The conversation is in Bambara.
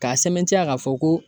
K'a sɛmɛntiya k'a fɔ ko